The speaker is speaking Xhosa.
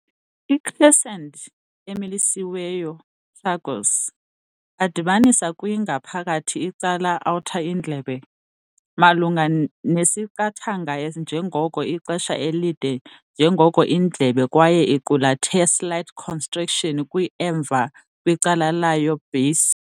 I-crescent-emilisiweyo tragus, a dibanisa kwi ngaphakathi icala outer indlebe, malunga nesiqingatha njengoko ixesha elide njengoko indlebe kwaye iqulathe slight constriction kwi emva kwicala layo-base.